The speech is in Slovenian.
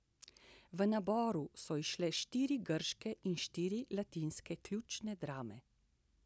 V naboru so izšle štiri grške in štiri latinske ključne drame.